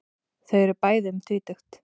Þau eru bæði um tvítugt.